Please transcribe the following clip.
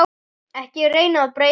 Ekki reyna að breyta mér.